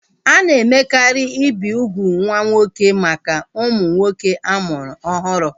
A na-emekarị ibi ugwu nwa nwoke maka ụmụ nwoke a mụrụ ọhụrụ